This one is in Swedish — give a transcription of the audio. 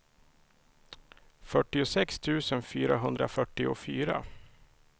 fyrtiosex tusen fyrahundrafyrtiofyra